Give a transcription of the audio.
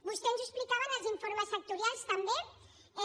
vostè ens ho explicava en els informes sectorials també